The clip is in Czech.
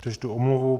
Přečtu omluvu.